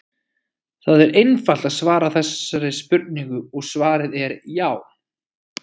Það er einfalt að svara þessari spurningu og svarið er já!